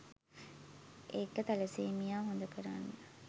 ඒක තැලසීමියා හොද කරන්න